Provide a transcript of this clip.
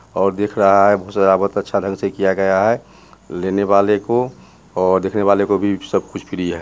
और दिख रहा है बहुत सजावट अच्छा ढंग से किया गया है लेने वालों को और देखने वालों को भी सब कुछ फ्री है।